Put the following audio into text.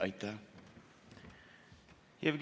Aitäh!